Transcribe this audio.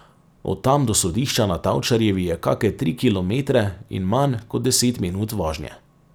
Od tam do sodišča na Tavčarjevi je kake tri kilometre in manj kot deset minut vožnje.